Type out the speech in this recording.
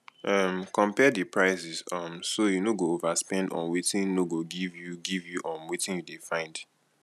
um compare di prices um so you no go overspend on wetin no go give you give you um wetin you dey find